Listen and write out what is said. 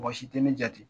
Mɔgɔ si tɛ ne jate